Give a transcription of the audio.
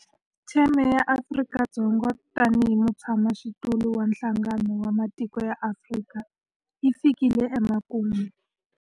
Theme ya Afrika-Dzonga tanihi mutshamaxitulu wa Nhlangano wa Matiko ya Afrika yi fikile emakumu.